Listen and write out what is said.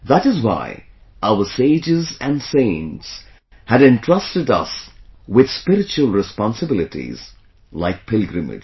That is why our sages and saints had entrusted us with spiritual responsibilities like pilgrimage